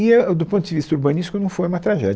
E é, do ponto de vista urbanístico, não foi uma tragédia.